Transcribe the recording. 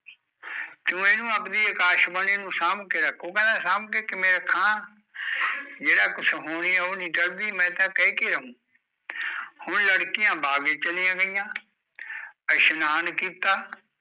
ਤੂੰ ਇਹਨੂੰ ਆਪਦੀ ਅਕਾਸ਼ ਬਾਣੀ ਨੂੰ ਸਾਂਬ ਕੇ ਰੱਖ, ਉਹ ਕਹਿੰਦਾ ਸਾਂਬ ਕੇ ਕਿਵੇ ਰੱਖਾ ਜਿਹੜਾ ਕੁਸ਼ ਹੋਣੀ ਉਹ ਨੀ ਟਲਦੀ ਮੈਂ ਤਾਂ ਕਹਿ ਕੇ ਆਊ ਹੁਣ ਲੜਕੀਆਂ ਬਾਗ਼ ਚ ਚਲੀਆ ਗਈਆ ਇਸ਼ਨਾਨ ਕੀਤਾ